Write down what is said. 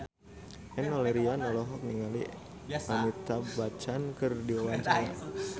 Enno Lerian olohok ningali Amitabh Bachchan keur diwawancara